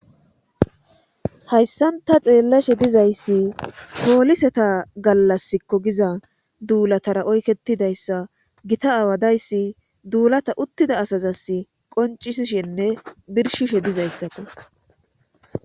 Hayssanta xeellashe dizayssi pooliseta gallaskko giza duulatara oyketidayssa gita aawadayssi duulata uttida asazas qoncisshinne birshishe dizayssakko